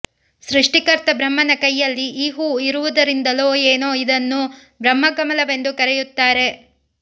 ಸೃಷ್ಟಿಕರ್ತ ಬ್ರಹ್ಮನ ಕೈಯಲ್ಲಿ ಈ ಹೂ ಇರುವುದರಿಂದಲೋ ಏನೊ ಇದನ್ನು ಬ್ರಹ್ಮ ಕಮಲವೆಂದು ಕರೆಯುತ್ತಾರೆ